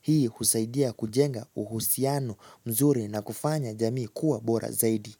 Hii husaidia kujenga uhusiano mzuri na kufanya jamii kuwa bora zaidi.